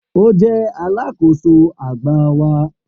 O jẹ alakoso agba wa